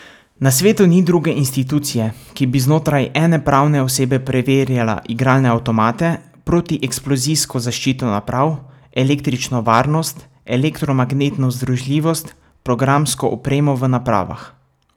Na svetu ni druge institucije, ki bi znotraj ene pravne osebe preverjala igralne avtomate, protieksplozijsko zaščito naprav, električno varnost, elektromagnetno združljivost, programsko opremo v napravah ...